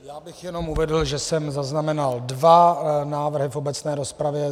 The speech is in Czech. Já bych jenom uvedl, že jsem zaznamenal dva návrhy v obecné rozpravě.